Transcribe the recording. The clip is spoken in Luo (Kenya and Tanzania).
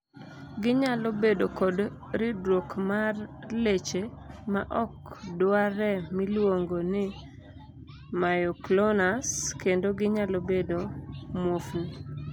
ginyalo bedo kod ridruok mar leche ma ok dwarre miluongo ni myoclonus , kendo ginyalo bedo muofni